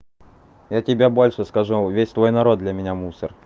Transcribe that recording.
я тебе больше скажу он весь твой народ для меня мусор